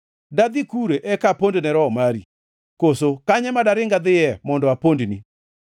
Dadhi kure eka apond ne Roho mari? Koso kanye ma daring adhiye mondo apondni?